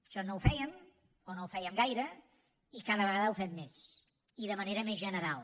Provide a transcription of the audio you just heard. això no ho fèiem o no ho fèiem gaire i cada vegada ho fem més i de manera més general